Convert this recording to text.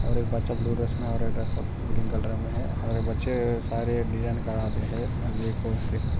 और एक बच्चा ब्लू ड्रेस मे और सब ग्रीन कलर मे है और बच्चे सारे डिज़ाइन बनाते है।